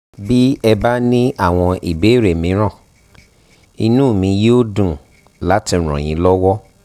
bí ẹ bá ní àwọn ìbéèrè míràn inú mi yóò dùn láti ràn yín lọ́wọ́"